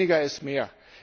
Weniger ist mehr.